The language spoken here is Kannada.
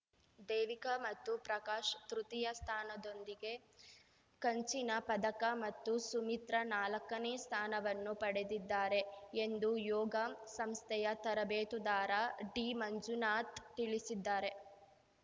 ದೇವಿಕಾ ಮತ್ತು ಪ್ರಕಾಶ್‌ ತೃತೀಯ ಸ್ಥಾನದೊಂದಿಗೆ ಕಂಚಿನ ಪದಕ ಮತ್ತು ಸುಮಿತ್ರ ನಾಲಕ್ಕನೇ ಸ್ಥಾನವನ್ನು ಪಡೆದಿದ್ದಾರೆ ಎಂದು ಯೋಗ ಸಂಸ್ಥೆಯ ತರಬೇತುದಾರ ಡಿಮಂಜುನಾಥ್‌ ತಿಳಿಸಿದ್ದಾರೆ